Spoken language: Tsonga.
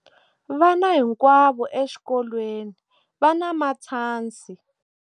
Vana hinkwavo exikolweni va na matshansi.